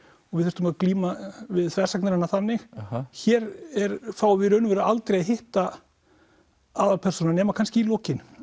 og við þurftum að glíma við þversagnir hennar þannig hér fáum við í raun og veru aldrei að hitta aðalpersónuna nema kannski í lokin